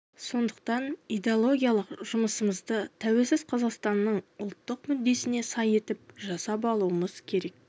сондықтан идеологиялық жұмысымызды тәуелсіз қазақстанның ұлттық мүддесіне сай етіп жасап алуымыз керек